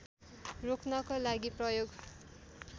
रोक्नको लागि प्रयोग